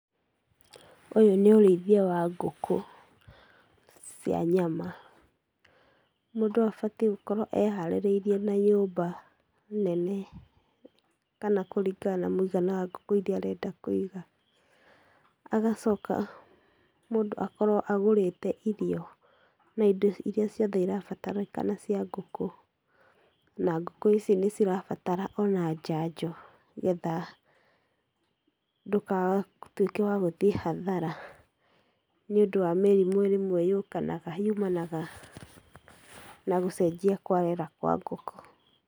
Ũyũ nĩ ũrĩithia wa ngũkũ, cia nyama, mũndũ abatiĩ gũkorwo e-harĩrĩirie na nyũmba nene, kana kũringana na mũigana wa ngũkũ ĩria arenda kũiga, agacoka mũndũ akorwo agũrĩte irio, na indo iria ciothe irabatarĩkana cia ngũkũ, na ngũku ici nĩcirabatara ona njanjo nĩgetha ndũgatuĩke wa gũthiĩ hathara, nĩũndũ wa mĩrimũ rĩmwe yũkanaga, yũmanaga na gũcenjia kwa rĩera kwa ngũkũ.